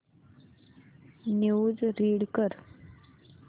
news read कर